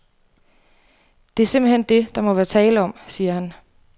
Det er simpelt hen det, der må være tale om, siger han.